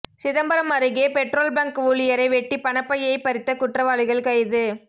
சிதம்பரம் அருகே petrol bunk ஊழியரை வெட்டி பணப்பையை பறித்த குற்றவாளிகள் கைது